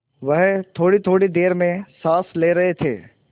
वह थोड़ीथोड़ी देर में साँस ले रहे थे